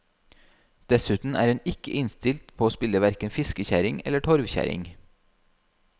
Dessuten er hun ikke innstilt på å spille hverken fiskekjerring eller torvkjerring.